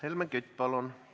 Helmen Kütt, palun!